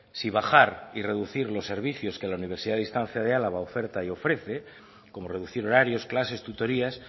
si bajar y reducir los servicios que la universidad de distancia de álava oferta y ofrece como reducir horarios clases tutorías